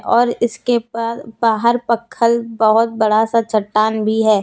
और इसके पास बाहर पखल बहुत बड़ा सा चट्टान भी है।